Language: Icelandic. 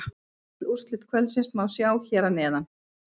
Öll úrslit kvöldsins má sjá hér að neðan